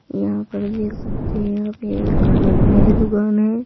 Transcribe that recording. यहां पर भी देख सकते हैं यहां पे एक खाने पीने की दुकान है।